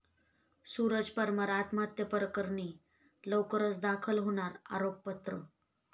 सूरज परमार आत्महत्येप्रकरणी लवकरच दाखल होणार आरोपपत्र